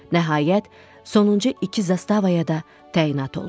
Nəhayət, sonuncu iki zastavaya da təyinat oldu.